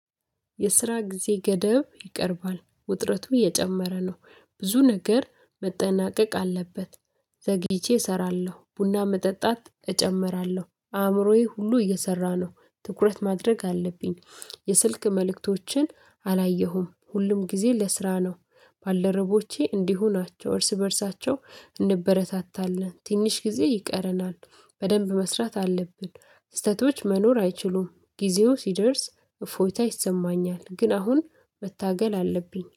የስራ ጊዜ ገደብ ይቀርባል ውጥረቱ እየጨመረ ነው ብዙ ነገር መጠናቀቅ አለበት። ዘግይቼ እሰራለሁ ቡና መጠጣት እጨምራለሁ አእምሮዬ ሁሉ እየሰራ ነው ትኩረት ማድረግ አለብኝ። የስልክ መልእክቶችን አላየሁም ሁሉም ጊዜ ለስራ ነው። ባልደረቦቼ እንዲሁ ናቸው እርስ በእርሳቸው እንበረታታለን ትንሽ ጊዜ ይቀረናል። በደንብ መስራት አለብን ስህተቶች መኖር አይችሉም ጊዜው ሲደርስ እፎይታ ይሰማኛል። ግን አሁን መታገል አለብኝ